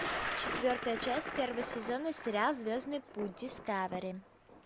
четвертая часть первого сезона сериал звездный путь дискавери